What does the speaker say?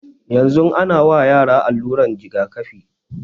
Yanzun ana wa yara aluran jigakafi